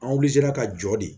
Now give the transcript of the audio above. An ka jɔ de